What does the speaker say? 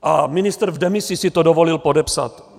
A ministr v demisi si to dovolil podepsat.